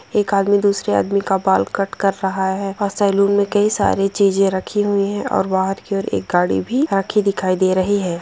एक आदमी दूसरे आदमी का बाल कट कर रहा है सैलून मे कई सारी चीजें रखी हुई है और बाहर की ओर एक गाड़ी भी रखी दिखाई दे रही है।